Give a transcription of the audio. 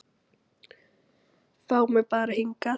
Fá mig bara hingað.